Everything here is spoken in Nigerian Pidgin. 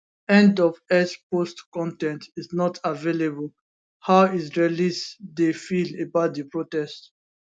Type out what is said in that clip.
end of x post con ten t is not available how israelis dey feel about di protests